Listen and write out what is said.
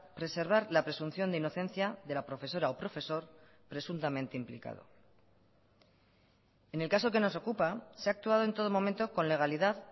preservar la presunción de inocencia de la profesora o profesor presuntamente implicado en el caso que nos ocupa se ha actuado en todo momento con legalidad